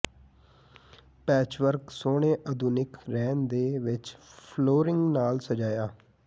patchwork ਸੋਹਣੇ ਆਧੁਨਿਕ ਰਹਿਣ ਦੇ ਵਿਚ ਫਲੋਰਿੰਗ ਨਾਲ ਸਜਾਇਆ